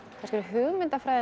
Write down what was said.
svo hugmyndafræðin